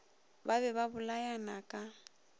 ba be ba bolayana ka